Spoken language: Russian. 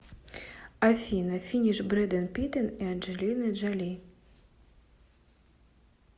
афина финиш брэдэн питен и анджелины джоли